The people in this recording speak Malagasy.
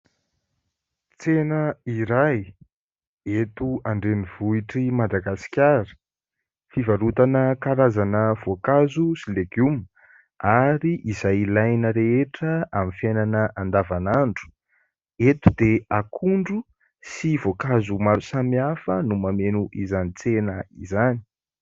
Tsena iray eto andrenivohitr'i Madagaskara fivarotana karazana voankazo sy legioma ary izay ilaina rehetra amin'ny fiainana andavan'andro. Eto dia akondro sy voankazo samiafa no mameno izany tsena izany.